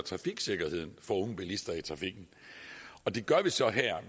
sikkerheden for unge bilister i trafikken og det gør vi så